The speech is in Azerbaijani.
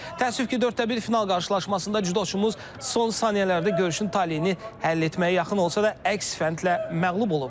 Təəssüf ki, dörddə bir final qarşılaşmasında cüdoçumuz son saniyələrdə görüşün taleyini həll etməyə yaxın olsa da əks fəndlə məğlub olub.